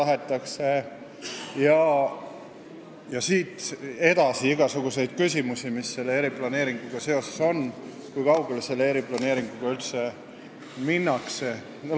Edasi tuleb siin veel igasuguseid eriplaneeringuga seotud küsimusi, kui kaugele sellega üldse minnakse jne.